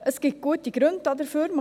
Es gibt gute Gründe dafür.